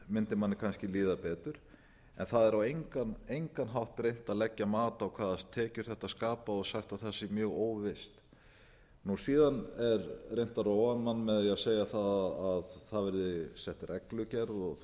mundi manni kannski líða betur en það er á engan hátt reynt að leggja mat á hvaða tekjur þetta skapar og sagt að það sé mjög óvíst síðan er reynt að róa mann með því að segja að það verði sett reglugerð og